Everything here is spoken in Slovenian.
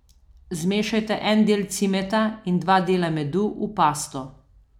Zmešajte en del cimeta in dva dela medu v pasto.